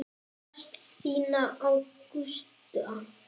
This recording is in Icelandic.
Ást þína á Gústa.